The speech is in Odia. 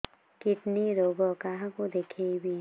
କିଡ଼ନୀ ରୋଗ କାହାକୁ ଦେଖେଇବି